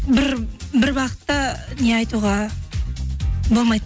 бір бағытта не айтуға болмайды